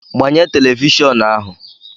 gbanye telivishọn ahu